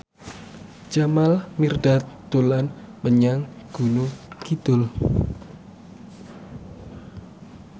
Jamal Mirdad dolan menyang Gunung Kidul